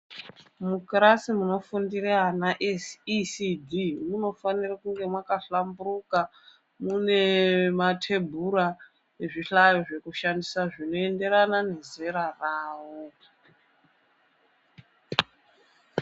Kuzvikora kunotaticha vana vadoko kunafana kunge kwakahlamburuka, mune matebhura nezvihlayo zvekushandisa zvinoenderana nezera rawo.